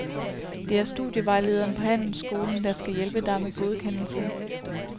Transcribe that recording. Det er studievejlederen på handelsskolen, der skal hjælpe dig med godkendelsen.